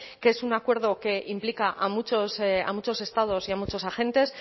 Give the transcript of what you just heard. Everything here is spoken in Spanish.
que es un acuerdo que implica a muchos estados y a muchos agentes